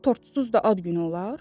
Tortsuz da ad günü olar?